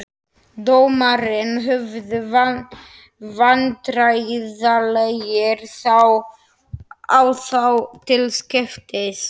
Dómararnir horfðu vandræðalegir á þá til skiptis.